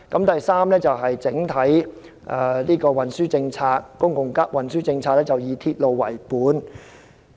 第三是整體公共運輸政策以"鐵路為本"。